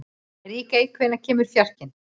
Ríkey, hvenær kemur fjarkinn?